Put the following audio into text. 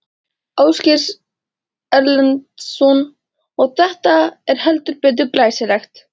Ásgeir Erlendsson: Og þetta er heldur betur glæsilegt?